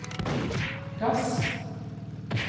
gass